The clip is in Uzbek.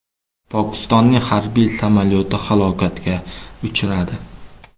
Pokistonning harbiy samolyoti halokatga uchradi .